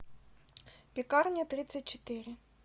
пекарня тридцать четыре